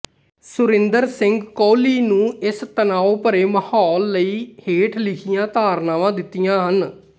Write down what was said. ਸੁਰਿੰਦਰ ਸਿੰਘ ਕੋਹਲੀ ਨੂੰ ਇਸ ਤਣਾਉ ਭਰੇ ਮਾਹੌਲ ਲਈ ਹੇਠ ਲਿਖੀਆਂ ਧਾਰਨਾਵਾਂ ਦਿੱਤੀਆਂ ਹਨ